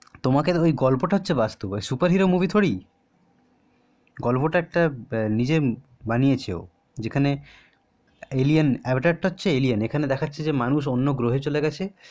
তোমার ওই গল্পটা হচ্ছে বাস্তব superhero movie থোরি গল্পটা একটা নিজে বানিয়েছে ও একটা হচ্ছে এলিয়েন আবাতেরটা হচ্ছে একটা এলিয়েন যে মানুষ অন্য গ্রহে চলে গেছে